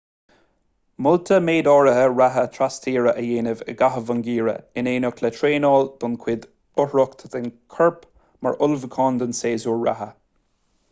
molta méid áirithe reatha trastíre a dhéanamh i gcaitheamh an gheimhridh in éineacht le traenáil don chuid uachtarach den chorp mar ullmhúchán don séasúr reatha